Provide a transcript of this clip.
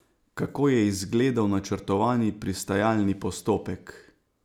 Kako je izgledal načrtovani pristajalni postopek?